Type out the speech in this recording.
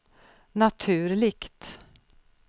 naturligt